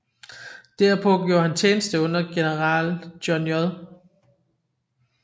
Derpå gjorde han tjeneste under general John J